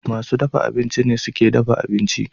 Masu dafa abinci ne suke dafa abinci.